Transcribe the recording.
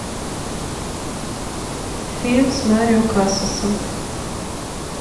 фильм с марио касасом